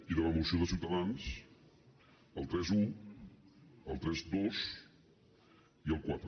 i de la moció de ciutadans el trenta un el trenta dos i el quatre